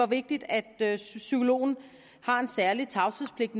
vigtigt at psykologen har en særlig tavshedspligt